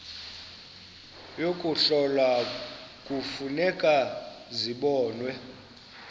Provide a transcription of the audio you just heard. yokuhlola kufuneka zibonwe